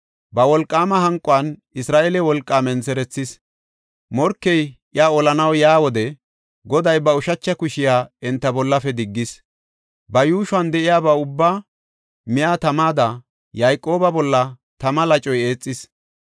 Ba wolqaama hanquwan Isra7eele wolqaa mentherethis; morkey iya olanaw yaa wode Goday ba ushacha kushiya enta bollafe diggis. Ba yuushuwan de7iyaba ubbaa miya tamada, Yayqooba bolla tama lacoy eexis.